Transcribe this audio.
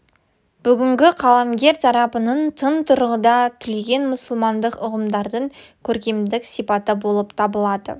бүгінгі қаламгерлер тарапынан тың тұрғыда түлеген мұсылмандық ұғымдардың көркемдік сипаты болып табылады